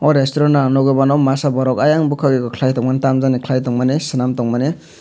resturant o ang nogoimano masa borok oyang bokag eko kelai tongmani tamjani kelai tongmani selam tongmani.